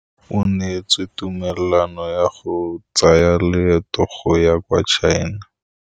O neetswe tumalanô ya go tsaya loetô la go ya kwa China.